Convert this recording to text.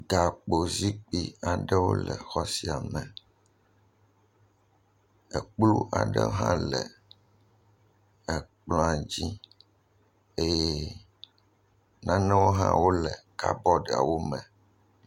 Gakpozikpi aɖewo le xɔ sia me. Ekplɔ aɖewo hã le ekplɔ̃a dzi eye nanewo hãwo le kabɔdiawo me.